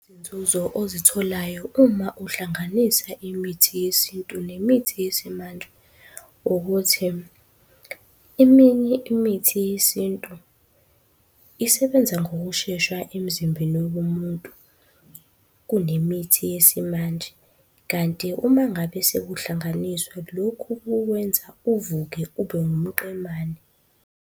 Izinzuzo ozitholayo uma uhlanganisa imithi yesintu nemithi yesimanje, ukuthi eminye imithi yesintu isebenza ngokushesha emzimbeni womuntu kunemithi yesimanje. Kanti uma ngabe sekuhlanganiswa lokhu kukwenza uvuke ube wumqemane.